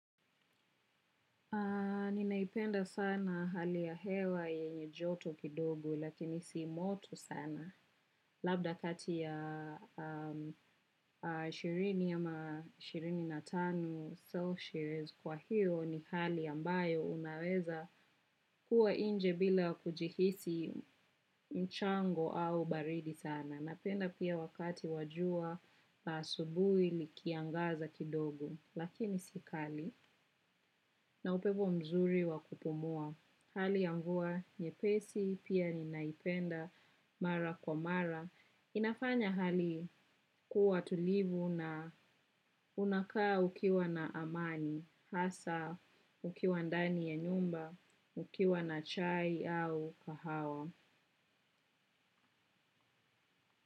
Ninaipenda sana hali ya hewa yenye joto kidogo lakini si moto sana labda kati ya ishirini ama ishirini na tano celsius kwa hiyo ni hali ambayo unaweza kuwa inje bila kujihisi mchango au baridi sana. Napenda pia wakati wa jua la asubuhi likiangaza kidogo, lakini si kali na upepo mzuri wa kupumua. Hali ya mvua nyepesi pia ninaipenda mara kwa mara. Inafanya hali kuwa tulivu na unakaa ukiwa na amani hada ukiwa ndani ya nyumba, ukiwa na chai au kahawa.